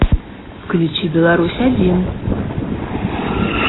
включи беларусь один